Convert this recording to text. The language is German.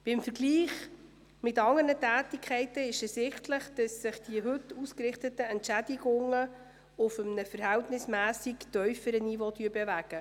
Im Vergleich mit anderen Tätigkeiten ist ersichtlich, dass sich die heute ausgerichteten Entschädigungen auf einem verhältnismässig tiefen Niveau bewegen.